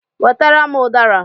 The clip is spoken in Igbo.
Wetara m udara!